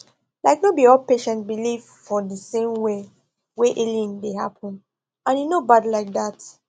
like no be all patients believe for the same way wey healing dey happen and e no bad like that